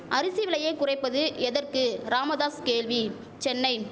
அரிசி விலையை குறைப்பது எதற்கு ராமதாஸ் கேள்வி சென்னை